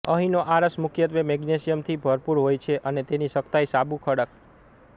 અહીંનો આરસ મુખ્યત્વે મેગ્નેશિયમથી ભરપુર હોય છે અને તેની સખ્તાઇ સાબુ ખડક